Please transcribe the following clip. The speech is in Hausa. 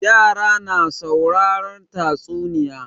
Yara na sauraren tatsunniya.